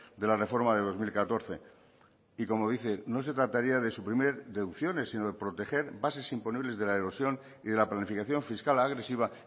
de la reforma de dos mil catorce y como dice no se trataría de suprimir deducciones sino de proteger bases imponibles de la erosión y de la planificación fiscal agresiva